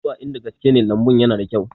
Ka duba in da gaske lambun yana da kyau